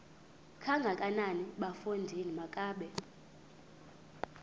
kangakanana bafondini makabe